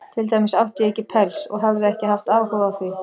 Til dæmis átti ég ekki pels, og hafði ekki haft áhuga á því.